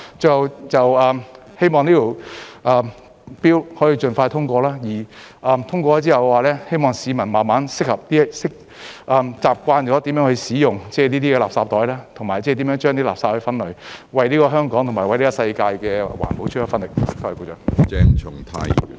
最後，希望這項 Bill 可以盡快通過，之後希望市民慢慢適應、習慣如何使用這些垃圾袋，以及為垃圾分類，為香港和世界的環保出一分力。